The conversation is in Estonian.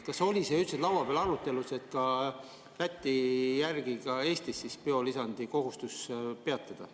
Kas oli see arutelus üldse laua peal, et ka Eestis Läti eeskujul biolisandi kohustus peatada?